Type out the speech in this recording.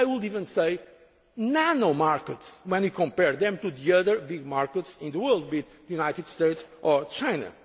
even micro markets. I would even say nano markets, when you compare them to the other big markets in the world, like the United